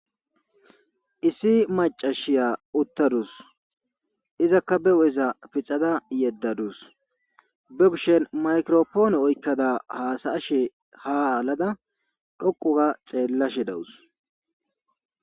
issi macashiya uttadus izakka be hu7eza pixada yeddadus be kushen maykiropoone oykkada haasayashe ha alada dhoqu ga xeellashe dawus